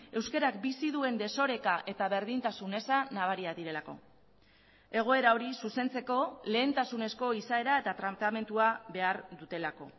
euskarak bizi duen desoreka eta berdintasun eza nabariak direlako egoera hori zuzentzeko lehentasunezko izaera eta planteamendua behar dutelako